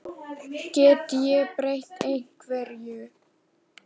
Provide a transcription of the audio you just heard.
Get ég breytt einhverju?